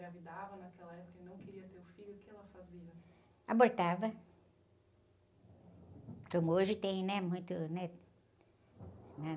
engravidava naquela época e não queria ter o filho, o que ela fazia?bortava, como hoje tem, né? Muito...